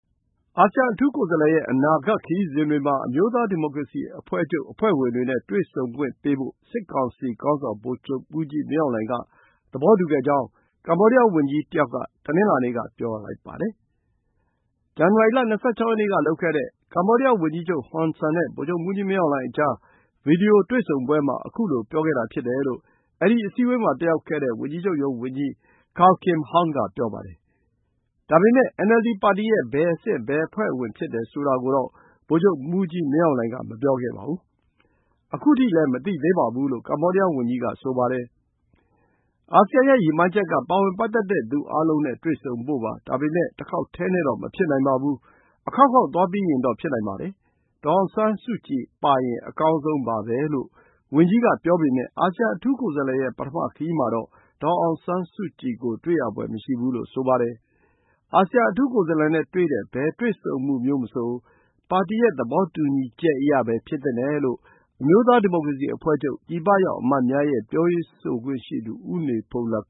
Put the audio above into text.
အာဆီယံအထူးကိုယ်စားလှယ်ရဲ့ အနာဂတ်ခရီးစဉ်တွေမှာ အမျိုးသားဒီမိုကရေစီအဖွဲ့ချုပ် အဖွဲ့ဝင်တွေနဲ့ တွေ့ခွင့်ပေးဖို့ စစ်ကောင်စီခေါင်းဆောင် ဗိုလ်ချုပ်မှူးကြီးမင်းအောင်လှိုင်က သဘောတူခဲ့ကြောင်း ကမ္ဘောဒီယားဝန်ကြီတယောက်က တနင်္လာနေ့က ပြောပါတယ်။ ဇန်နဝါရီလ ၂၆ ရက်နေ့ကလုပ်ခဲ့တဲ့ ကမ္ဘောဒီယားဝန်ကြီးချုပ်ဟွန်ဆန်နဲ့ ဗိုလ်ချုပ်မှူးကြီး မင်းအောင်လှိုင်ကြား ဗွီဒီယိုတွေ့ဆုံပွဲမှာ ခုလို ပြောခဲ့တာဖြစ်တယ်လို့ အဲဒီ အစည်းအဝေးမှာ တက်ရောက်ခဲ့တဲ့ ဝန်ကြီးချုပ်ရုံး ဝန်ကြီး Kao Kim Hourn က ပြောပါတယ်။ ဒါပေမယ့် NLD ပါတီရဲ့ ဘယ်အဆင့်၊ ဘယ်အဖွဲ့ဝင်ဖြစ်တယ်ဆိုတာကိုတော့ ဗိုလ်ချုပ်မှူးကြီးမင်းအောင်လှိုင်က မပြောခဲ့ပါဘူး။ ခုထိလည်း မသိသေးပါဘူးလို့ ကမ္ဘောဒီးယားဝန်ကြီးက ဆိုပါတယ်။ “အာဆီယံရဲ့ရည်မှန်းချက်က ပါဝင်ပတ်သက်တဲ့သူအားလုံးနဲ့ တွေ့ဆုံဖို့ပါ။ ဒါပေမဲ့ တခေါက်တည်းနဲ့တော့ မဖြစ်နိုင်ပါဘူး။ အခေါက်ခေါက်သွားပြီးရင်တော့ ဖြစ်နိုင်ပါတယ်။ ဒေါ်အောင်ဆန်းစုကြည်ပါရင် အကောင်းဆုံးပါပဲ” လို့ ဝန်ကြီးက ပြောပေမဲ့ အာဆီယံ အထူးကိုယ်စားလှယ်ရဲ့ ပထမခရီးမှာတော့ ဒေါ်အောင်ဆန်းစုကြည်ကို တွေ့ရဖွယ်မရှိဘူးလို့ ဆိုပါတယ်။ အာဆီယံအထူးကိုယ်စားလှယ်နဲ့တွေ့တဲ့ ဘယ် တွေ့ဆုံမှုမျိုးမဆို ပါတီရဲ့ သဘောတူညီချက်အရပဲ ဖြစ်သင့်တယ်လို့ အမျိုးသားဒီမိုကရေစီအဖွဲ့ချုပ် ပြည်ပရောက်အမတ်များရဲ့ ပြောရေးဆိုခွင့်ရှိသူ ဦးနေဘုန်းလတ်